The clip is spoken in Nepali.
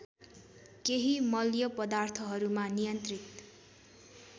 केही मल्यपदार्थहरूमा नियन्त्रित